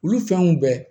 Olu fɛnw bɛɛ